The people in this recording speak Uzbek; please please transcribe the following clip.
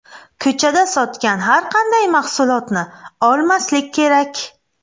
Ko‘chada sotgan har qanday mahsulotni olmaslik kerak.